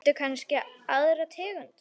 Viltu kannski aðra tegund?